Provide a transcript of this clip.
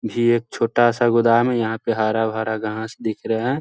ये एक छोटा-सा गोदाम है यहाँ पे हरा-भरा घास दिख रहा हैं।